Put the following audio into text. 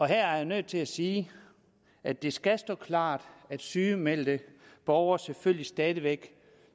her er jeg nødt til at sige at det skal stå klart at sygemeldte borgere selvfølgelig stadig væk